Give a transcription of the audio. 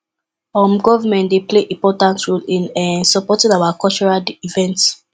um government dey play important role in um supporting our cultural events